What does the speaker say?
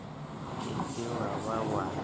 ke ke wa ba wa